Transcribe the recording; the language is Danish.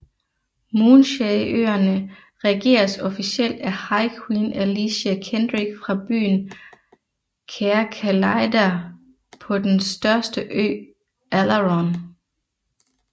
Moonshae øerne regeres officielt af High Queen Alicia Kendrick fra byen Caer Calidyrr på den største ø Alaron